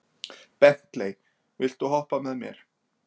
Bentley, viltu hoppa með mér?